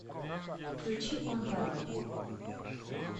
включи он пароль